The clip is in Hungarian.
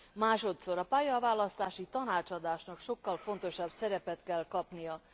Másodszor a pályaválasztási tanácsadásnak sokkal fontosabb szerepet kell kapnia.